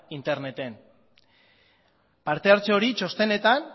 interneten partehartze hori txostenetan